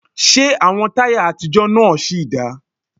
Ṣé àwọn táyà àtijọ́ náà sì dáa?